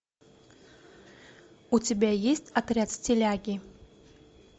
у тебя есть отряд стиляги